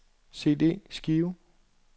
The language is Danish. CD-skive